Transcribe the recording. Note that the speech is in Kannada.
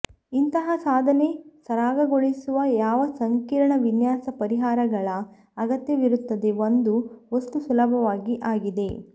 ಇಂತಹ ಸಾಧನೆ ಸರಾಗಗೊಳಿಸುವ ಯಾವ ಸಂಕೀರ್ಣ ವಿನ್ಯಾಸ ಪರಿಹಾರಗಳ ಅಗತ್ಯವಿರುತ್ತದೆ ಒಂದು ವಸ್ತು ಸುಲಭವಾಗಿ ಆಗಿದೆ